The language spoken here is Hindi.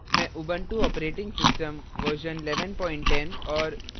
मैं ubuntu operating system version 1110 और